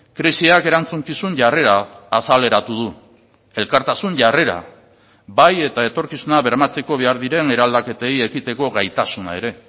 krisiak erantzukizun jarrera azaleratu du elkartasun jarrera bai eta etorkizuna bermatzeko behar diren eraldaketei ekiteko gaitasuna ere